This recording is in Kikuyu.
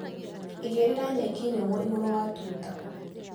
Igĩrĩra nyeki nyũmũ igũru wa tuta.